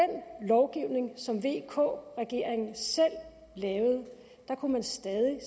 lovgivning som vk regeringen selv lavede kunne man stadig